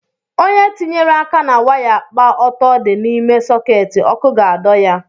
onye tinyere aka na waya kpa ọtọ di n’ime soketi, ọkụ ga-adọ ya